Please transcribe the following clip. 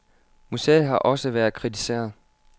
Museet har også været kritiseret.